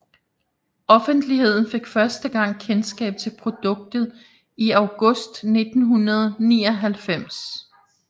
Offentligheden fik første gang kendskab til produktet i august 1999